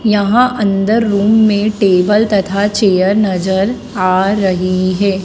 यहां अंदर रूम में टेबल तथा चेयर नजर आ रही है।